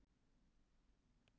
Þetta gengur engan veginn.